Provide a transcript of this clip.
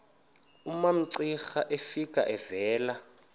umamcira efika evela